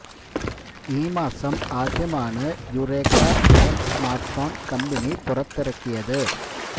ഈ മാസം ആദ്യമാണ് Yu Yureka black smartphone company പുറത്തിറക്കിയത്